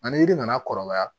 Ani yiri nana kɔrɔbaya